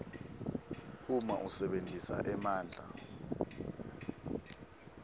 uma usebentisa emandla